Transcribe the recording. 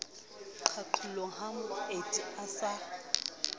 qalong ha moeti a sa